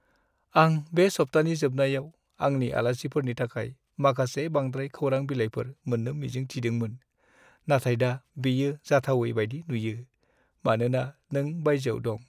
आं बे सप्तानि जोबनायाव आंनि आलासिफोरनि थाखाय माखासे बांद्राय खौरां बिलाइफोर मोन्नो मिजिं थिदोंमोन, नाथाय दा बेयो जाथावै बायदि नुयो, मानोना नों बायजोआव दं।